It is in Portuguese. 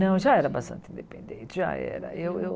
Não, já era bastante independente, já era. Eu Eu